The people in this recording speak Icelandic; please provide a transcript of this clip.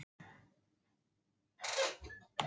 Abraham og sagði honum allt af létta.